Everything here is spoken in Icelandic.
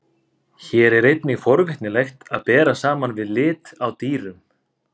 Hér er einnig forvitnilegt að bera saman við lit á dýrum.